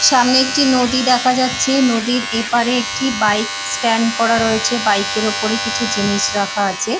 সামনে একটি নদী দেখা যাচ্ছে নদীর এপারে একটি বাইক স্ট্যান্ড করা রয়েছে বাইক -এর ওপরে কিছু জিনিস রাখা আছে।